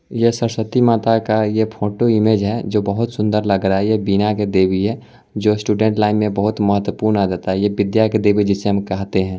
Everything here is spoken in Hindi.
ये सरस्वती माता का ये फोटो इमेज है जो बहुत सुंदर लग रहा है ये वीना की देवी है जो स्टूडेंट लाइन में बहुत मह्त्वपूर्ण आ जाता है ये विद्या के देवी जिसे हम कहते है।